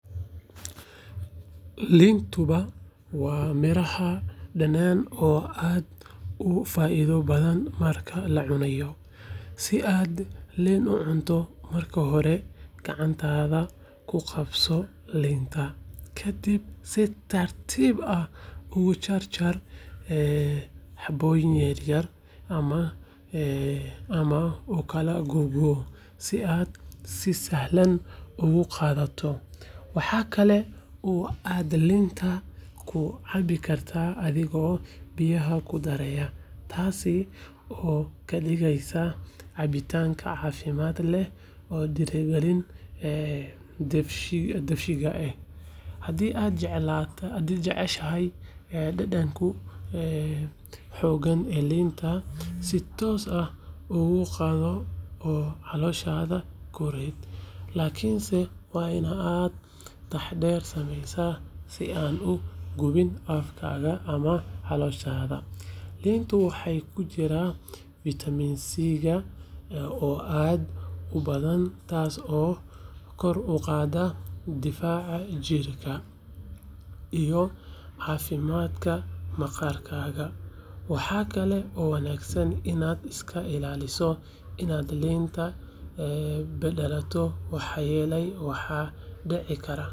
Liintuba waa miraha dhanaan oo aad u faa'iido badan markaad cunayso. Si aad liin u cunto, marka hore gacantaada ku qabso liinta, ka dibna si tartiib ah ugu jar jar xabbooyin yar yar ama u kala googo, si aad si sahlan ugu qaadato. Waxa kale oo aad liinta ku cabi kartaa adigoo biyaha ku daraya, taas oo ka dhigaysa cabitaan caafimaad leh oo dhiirrigeliya dheefshiidka. Haddii aad jeceshahay dhadhanka xooggan ee liinta, si toos ah uga qaado oo calooshaada ku rid, laakiinse waa in aad taxaddar sameysaa si aadan u gubin afkaaga ama calooshaada. Liinta waxaa ku jira fitamiin C oo aad u badan, taas oo kor u qaadda difaaca jirkaaga iyo caafimaadka maqaarkaaga. Waxa kale oo wanaagsan inaad iska ilaaliso in aad liinta badato, maxaa yeelay waxay dicikara.